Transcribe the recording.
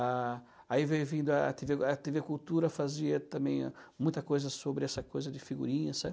Ah aí veio vindo a tê vê, a tê vê Cultura fazia também muita coisa sobre essa coisa de figurinha,